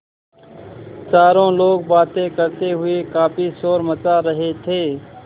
चारों लोग बातें करते हुए काफ़ी शोर मचा रहे थे